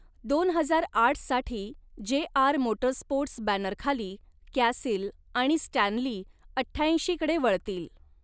दोन हजार आठ साठी जे. आर. मोटरस्पोर्ट्स बॅनर खाली कॅसील आणि स्टॅन्ली अठ्ठ्याऐंशी कडे वळतील.